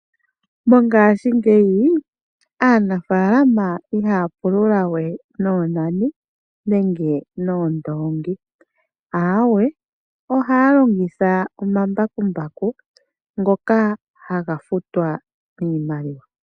Mongaashingeyi aanafaalama ihaya pulula we noonani nenge noondoongi ,aawe ohaya longitha omambakumbaku ngoka haga futwa niimaliwa.